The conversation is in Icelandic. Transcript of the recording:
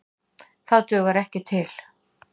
Það dugar ekki til.